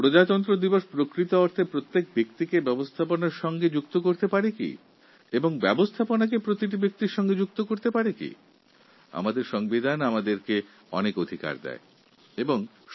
সঠিক অর্থে সাধারণতন্ত্র দিবস কি প্রতিটি নাগরিককে সংবিধানের সঙ্গে এবং সংবিধানকে প্রতিটি নাগরিকের সঙ্গে যুক্ত করতে পারবে আমাদের সংবিধান আমাদের অনেক অধিকার সুনিশ্চিত করে